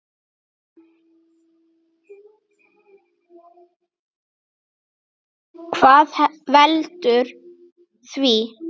Hvað veldur því?